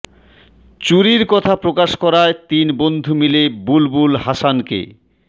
চুরির কথা প্রকাশ করায় তিন বন্ধু মিলে বুলবুল হাসানকে